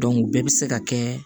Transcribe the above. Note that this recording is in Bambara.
o bɛɛ bɛ se ka kɛ